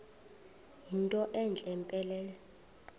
yinto entle mpelele